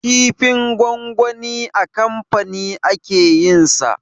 Kifin gwangwani a kamfani ake yin sa